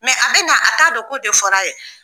a bɛ na a t'a dɔn ko de fɔra a ye